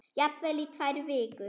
Jafnvel í tvær vikur.